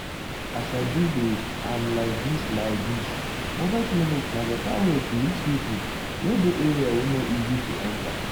as i dey dey am like this like this mobile clinic na better way to reach pipo wey dey area wey no easy to enta.